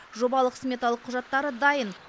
жобалық сметалық құжаттары дайын